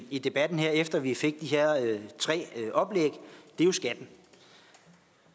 i debatten her efter vi fik de her tre oplæg er skatten